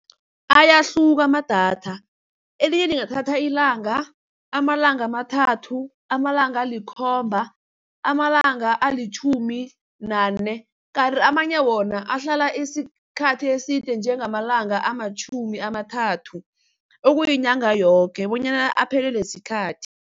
Ayahluka amadatha, elinye lingathatha ilanga, amalanga amathathu, amalanga alikhomba, amalanga alitjhumi nane kanti amanye wona ahlala isikhathi eside njengamalanga amatjhumi amathathu, okuyinyanga yoke bonyana aphelelwe sikhathi.